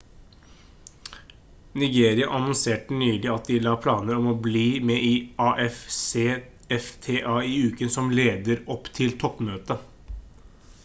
nigeria annonserte nylig at de la planer om å bli med i afcfta i uken som leder opp til toppmøtet